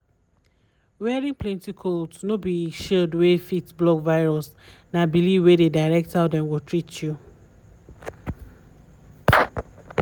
wearing plenty cloth no be shield wey fit block virus na belief wey dey direct how dem go treat you.